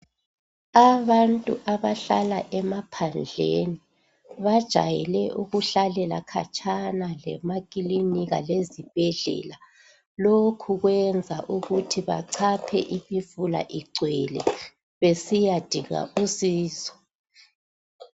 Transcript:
Abantu abahlala emaphandleni bajayele ukuhlalela khatshana lemakilinika lezibhedlela lokhu kwenza ukuthi bachaphe imfula igcwele besiyadinga usizo.